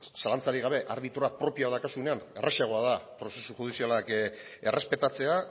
zalantzarik gabe arbitroa propioa daukazunean errazagoa da prozesu judizialak errespetatzea